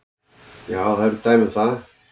Já, það eru dæmi um það.